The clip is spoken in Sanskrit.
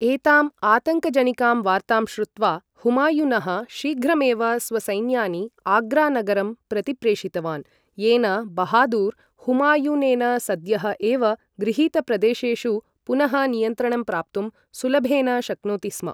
एतां आतङ्कजनिकां वार्तां श्रुत्वा, हुमायुनः शीघ्रमेव स्वसैन्यानि आग्रा नगरं प्रतिप्रेषितवान्, येन बहादुर्, हुमायूनेन सद्यः एव गृहीतप्रदेशेषु पुनः नियन्त्रणं प्राप्तुं सुलभेन शक्नोति स्म।